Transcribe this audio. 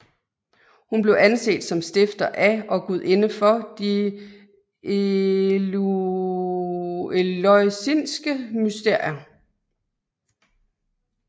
Hun blev anset som stifter af og gudinde for de eleusinske mysterier